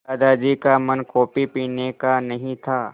दादाजी का मन कॉफ़ी पीने का नहीं था